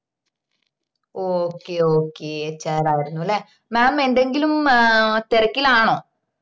okay okayhr ആയിരന്നുല്ലെ mam എന്തെങ്കിലും hmm ah തെരക്കിലാണോ